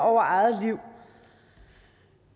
over eget liv